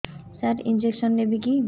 ସାର injection ନେବିକି